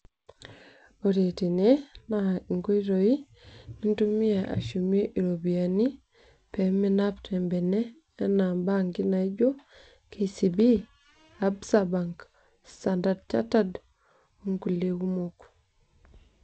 Ore tene naa inkoitoi nintumia ashumie ropiyani peminap te mbene ana bank naijo kcb,absa bank, standard chartered o ng'ulie kumok.